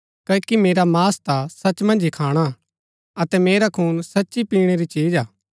क्ओकि मेरा मांस ता सच मन्ज ही खाणा हा अतै मेरा खून सच्ची पिणै री चिज हा